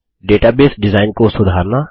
database design को सुधारना